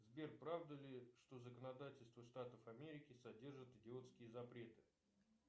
сбер правда ли что законодательство штатов америки содержит идиотские запреты